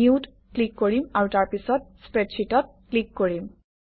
নিউত click কৰিম আৰু তাৰপিছত স্প্ৰেডশ্বিটত ক্লিক কৰিম